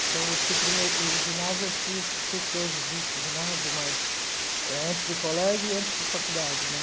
Então, eu fui para o meu o ginásio eu fiz, não sei se hoje existe ginásio, mas eh antes do colégio e antes de faculdade né.